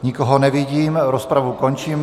Nikoho nevidím, rozpravu končím.